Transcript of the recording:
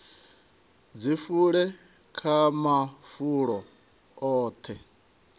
dzi fule kha mafulo oṱhe